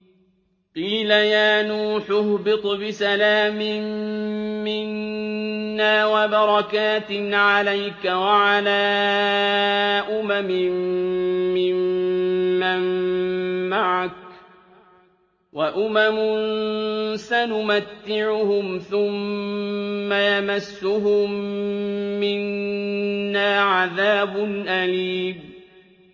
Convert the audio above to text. قِيلَ يَا نُوحُ اهْبِطْ بِسَلَامٍ مِّنَّا وَبَرَكَاتٍ عَلَيْكَ وَعَلَىٰ أُمَمٍ مِّمَّن مَّعَكَ ۚ وَأُمَمٌ سَنُمَتِّعُهُمْ ثُمَّ يَمَسُّهُم مِّنَّا عَذَابٌ أَلِيمٌ